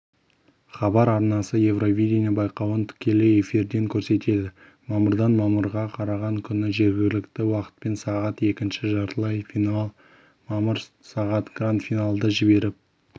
хабар арнасы евровидение байқауын тікелей эфирден көрсетеді мамырдан мамырға қараған түні жергілікті уақытпен сағат екінші жартылай финал мамыр сағат гранд-финалды жіберіп